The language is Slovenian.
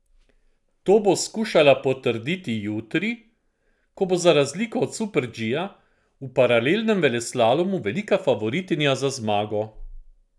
To bo skušala potrditi jutri, ko bo za razliko od super G v paralelnem veleslalomu velika favoritinja za zmago.